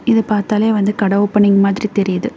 இத பாத்தாலே வந்து கட ஓபனிங் மாதிரி தெரியுது.